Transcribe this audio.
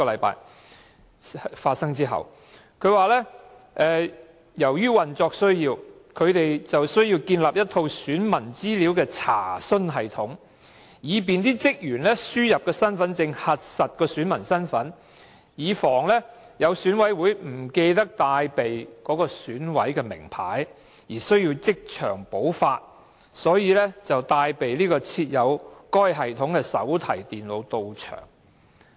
他說由於運作需要，選舉事務處需要建立一套選民資料查詢系統，以便職員輸入身份證號碼核實選民身份，以防有選委不記得帶備選委名牌而需要即場補發，所以才帶備設有該系統的手提電腦到場。